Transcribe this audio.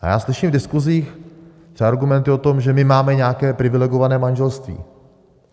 A já slyším v diskuzích třeba argumenty o tom, že my máme nějaké privilegované manželství.